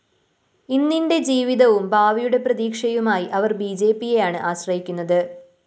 ഇന്നിന്റെ ജീവിതവും ഭാവിയുടെ പ്രതീക്ഷയുമായി അവര്‍ ബിജെപിയെയാണ് ആശ്രയിക്കുന്നത്